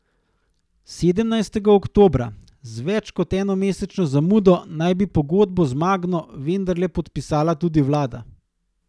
Sedemnajstega oktobra, z več kot enomesečno zamudo, naj bi pogodbo z Magno vendarle podpisala tudi vlada.